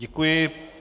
Děkuji.